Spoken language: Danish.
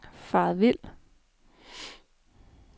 faret vild